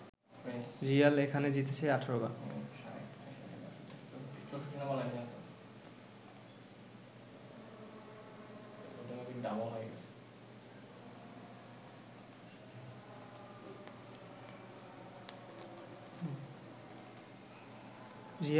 Real এখানে জিতেছে ১৮ বার